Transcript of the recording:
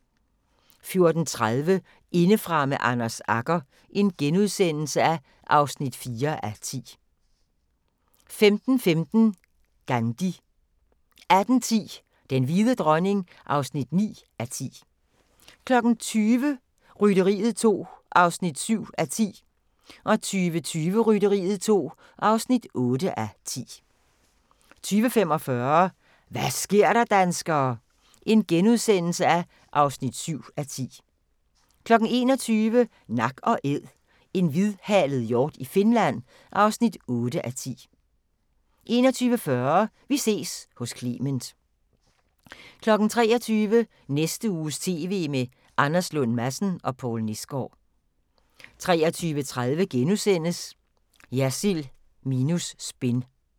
14:30: Indefra med Anders Agger (4:10)* 15:15: Gandhi 18:10: Den hvide dronning (9:10) 20:00: Rytteriet 2 (7:10) 20:20: Rytteriet 2 (8:10) 20:45: Hva' sker der, danskere? (7:10)* 21:00: Nak & Æd – en hvidhalet hjort i Finland (8:10) 21:40: Vi ses hos Clement 23:00: Næste uges TV med Anders Lund Madsen og Poul Nesgaard 23:30: Jersild minus spin *